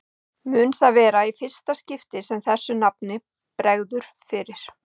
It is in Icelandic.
Mun það vera í fyrsta skipti sem þessu nafni bregður fyrir.